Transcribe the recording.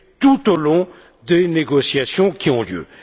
tout au long des négociations qui ont lieu.